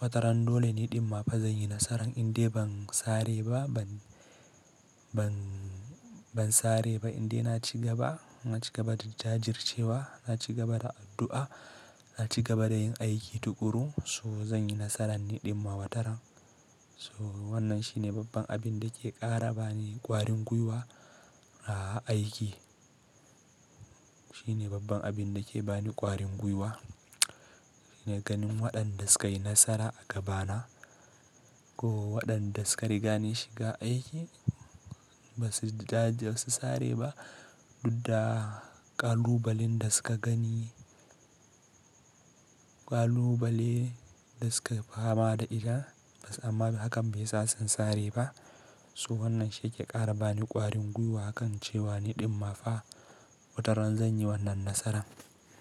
wataran dole ni ɗinma fa zan yi nasaran indai ban sare ba, ban, ban, ban sare ba indai na ci gaba, na ci gaba da jajircewa, na ci gaba da addu'a, na ci gaba da yin aiki tuƙuru so zan yi nasaran ni ɗinma wataran. So wannan shi ne babban abin da ke ƙara bani ƙwarin guiwa a aiki. Shi ne babban abin da ke bani ƙwarin guiwa. Ina ganin waɗan da su ka yi nasara a gaba na ko waɗan da suka riga ni shiga aiki ba su jajir, ba su sare ba, dudda ƙalubalen da suka gani, ƙalubale da suka fama da ita ba, amma hakan bai sa sun sare ba. So wannan shi yake ƙara bani ƙwarin guiwa akan cewa ni ɗummafa wataran zan yi wannan nasaran.